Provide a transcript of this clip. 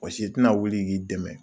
Mɔgɔ si tɛna wuli k'i dɛmɛ.